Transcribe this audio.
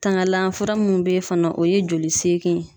Tanganlan fura mun be yen fana o ye joli seegin ye.